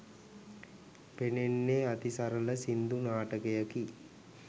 පෙනේනේ අතිසරල සින්දු නාටකයකි.